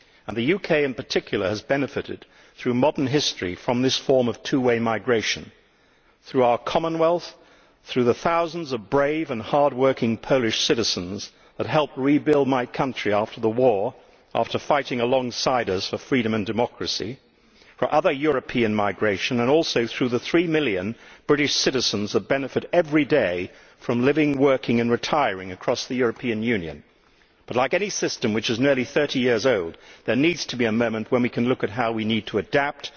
The UK in particular has benefited through modern history from this form of two way migration through our Commonwealth, through the thousands of brave and hardworking Polish citizens who helped rebuild my country after the war, after fighting alongside us for freedom and democracy, through other European migration and also through the three million British citizens who benefit every day from living, working and retiring across the European Union. But like any system which is nearly 30 years old, there needs to be a moment when we can look at how we need to adapt,